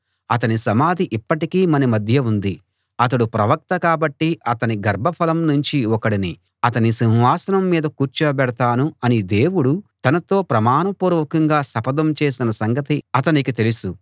అతని సమాధి ఇప్పటికీ మన మధ్య ఉంది అతడు ప్రవక్త కాబట్టి అతని గర్భఫలం నుంచి ఒకడిని అతని సింహాసనం మీద కూర్చోబెడతాను అని దేవుడు తనతో ప్రమాణపూర్వకంగా శపథం చేసిన సంగతి అతనికి తెలుసు